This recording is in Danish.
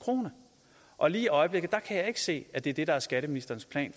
krone og lige i øjeblikket kan jeg ikke se at det er det der er skatteministerens plan